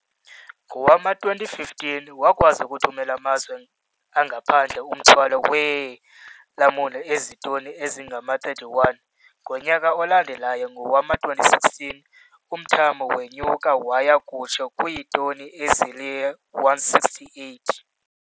Ngowama-2015, wakwazi ukuthumela kumazwe angaphandle umthwalo weelamuni ozitoni ezingama-31. Ngonyaka olandelayo, ngowama-2016, umthamo wenyuka waya kutsho kwiitoni ezili-168.